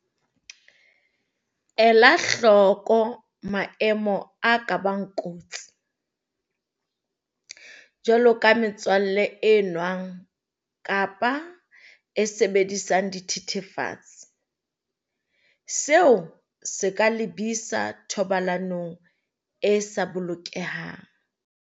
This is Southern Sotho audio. Ela hloko maemo a ka bang kotsi, jwaloka metswalle e nwang kapa e sebedisang dithethefatsi, seo se ka lebisa thobalanong e sa bolokehang.